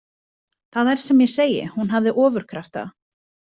Það er sem ég segi, hún hafði ofurkrafta.